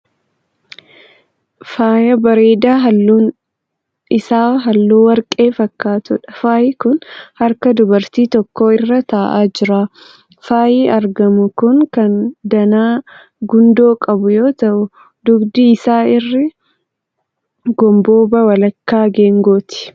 Faayya bareedaa halluun isaa halluu warqee fakkaatuudha. Faayyi kun harka dubartii tokko irra ta'aa jira. Faayyi argamu kun kan danaa gundoo qabu yoo ta'u dugdi isaa irri gomboobaa walakkaa geengooti.